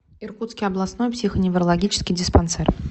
иркутский областной психоневрологический диспансер